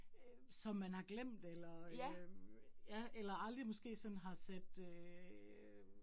Øh som man har glemt eller øh ja eller aldrig måske sådan har set øh